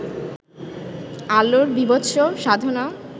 আলোর বীভৎস সাধনা